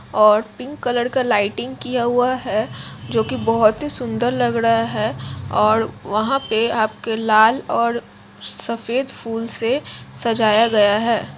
और pink colour का lighting किया गया है जो बहुत ही सुंदर लग रहा है और वहाँ पे आपके लाल सफ़ेद फूल से सजाया गया हे|